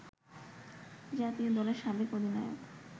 জাতীয় দলের সাবেক অধিনায়ক